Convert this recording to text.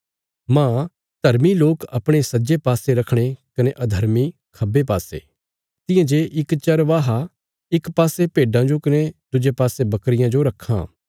मांह धर्मी लोक अपणे सज्जे पासे रखणे कने अधर्मी खब्बे पासे तियां जे इक चरवाहा इक पासे भेड्डां जो कने दुज्जे पासे बकरियां जो रक्खां